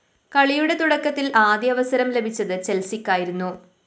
കളിയുടെ തുടക്കത്തില്‍ ആദ്യ അവസരം ലഭിച്ചത് ചെല്‍സിക്കായിരുന്നു